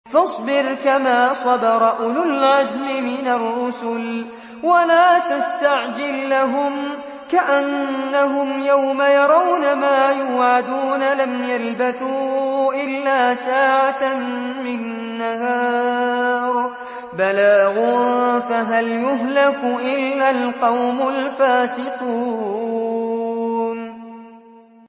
فَاصْبِرْ كَمَا صَبَرَ أُولُو الْعَزْمِ مِنَ الرُّسُلِ وَلَا تَسْتَعْجِل لَّهُمْ ۚ كَأَنَّهُمْ يَوْمَ يَرَوْنَ مَا يُوعَدُونَ لَمْ يَلْبَثُوا إِلَّا سَاعَةً مِّن نَّهَارٍ ۚ بَلَاغٌ ۚ فَهَلْ يُهْلَكُ إِلَّا الْقَوْمُ الْفَاسِقُونَ